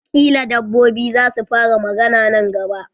Kila dabbobi zasu fara magana nan gaba.